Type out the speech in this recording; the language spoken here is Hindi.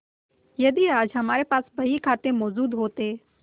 यदि आज हमारे पास बहीखाते मौजूद होते